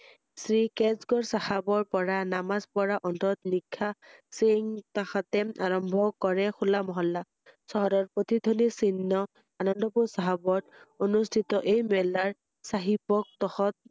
Shri Kesgarh চাহাবৰ পৰা নামাজ পঢ়া অন্তৰত নিশা~সিংহ কাষতে আৰম্ভ কৰে হুলা মহলা । চহৰৰ প্ৰতিধ্বনি চিনঃ আনন্দ পুৰ সহবত অনুষ্ঠিত এই মেলাৰ চাহিব